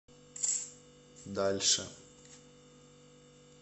дальше